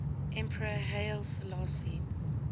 emperor haile selassie